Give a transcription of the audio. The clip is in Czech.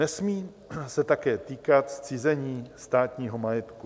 Nesmí se také týkat zcizení státního majetku.